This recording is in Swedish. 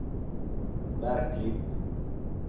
verkligt